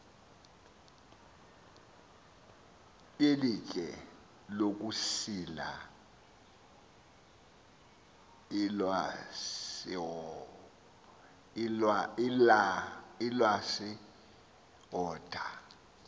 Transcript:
yelitye lokusila ilwasihota